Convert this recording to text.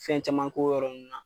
Fɛn caman k'o yɔrɔ nunnu na.